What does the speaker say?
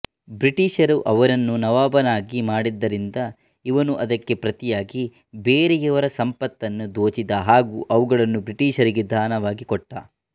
ಬ್ರಿಟೀಷರು ಅವನನ್ನು ನವಾಬನಾಗಿ ಮಾಡಿದ್ದರಿಂದ ಇವನು ಅದಕ್ಕೆ ಪ್ರತಿಯಾಗಿ ಬೆರೆಯವರ ಸಂಪತ್ತನ್ನು ದೋಚಿದ ಹಾಗೂ ಅವುಗಳನ್ನು ಬ್ರಿಟೀಷರಿಗೆ ದಾನವಾಗಿ ಕೊಟ್ಟ